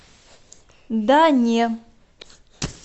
да не